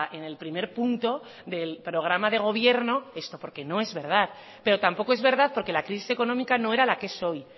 en el primer punto del programa de gobierno esto porque no es verdad pero tampoco es verdad porque la crisis económica no era la que es hoy